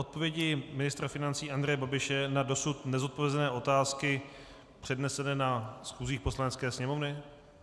Odpovědi ministra financí Andreje Babiše na dosud nezodpovězené otázky přednesené na schůzích Poslanecké sněmovny?